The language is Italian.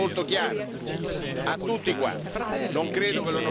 Questo l'ho detto e questo è molto chiaro a tutti quanti.